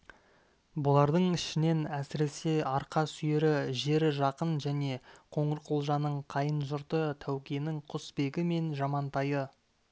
бұлардың ішінен әсіресе арқа сүйері жері жақын және қоңырқұлжаның қайын-жұрты тәукенің құсбегі мен жамантайы